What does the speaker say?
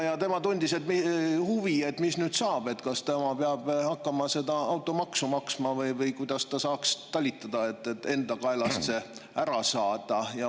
Ja tema tundis huvi, et mis nüüd saab, kas tema peab hakkama seda automaksu maksma või kuidas ta saaks talitada, et enda kaelast see ära saada.